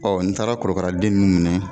Ɔ n taara korokaraden ninnu minɛ